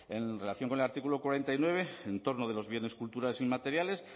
en relación con el artículo cuarenta y nueve en torno de los bienes culturales inmateriales